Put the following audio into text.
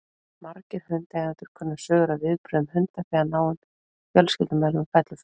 Margir hundaeigendur kunna sögur af viðbrögðum hunda þegar náinn fjölskyldumeðlimur fellur frá.